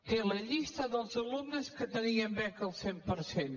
té la llista dels alumnes que tenien beca al cent per cent